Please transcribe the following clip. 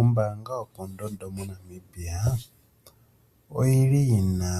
Ombaanga yopondondo moNamibia oyili yina